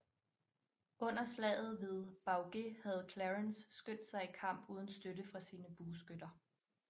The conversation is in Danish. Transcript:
Under slaget ved Baugé havde Clarence skyndt sig i kamp uden støtte fra sine bueskytter